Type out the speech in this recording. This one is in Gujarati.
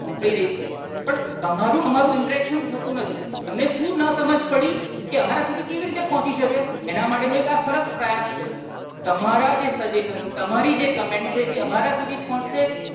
પહોંચી રહી છે. પણ તમારું ને અમારું interaction થતું નથી. તમને શું ના સમાજ પડી એ અમારા સુધી કેવી રીતે પહોંચી શકે એના માટે નો એક આ સરસ પ્રયાસ છે તમારા જે suggestion તમારી જે Comment છે એ અમારા સુધી પહોંચશે